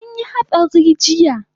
Anyi hatsari jiya